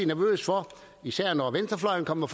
nervøs for især når venstrefløjen kommer